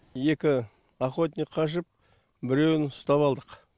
екі охотник қашып біреуін ұстап алдық